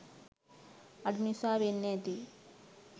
අඩු නිසා වෙන්න ඇති